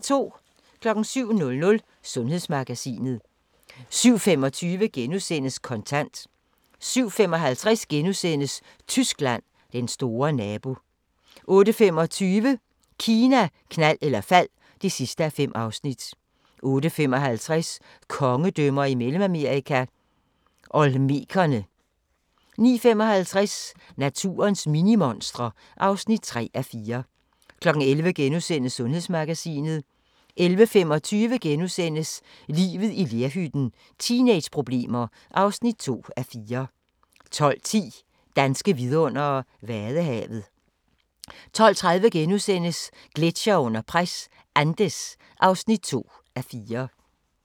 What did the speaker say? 07:00: Sundhedsmagasinet 07:25: Kontant * 07:55: Tyskland: Den store nabo * 08:25: Kina, knald eller fald (5:5) 08:55: Kongedømmer i Mellemamerika – Olmekerne 09:55: Naturens minimonstre (3:4) 11:00: Sundhedsmagasinet * 11:25: Livet i lerhytten – teenageproblemer (2:4)* 12:10: Danske vidundere: Vadehavet 12:30: Gletsjere under pres – Andes (2:4)*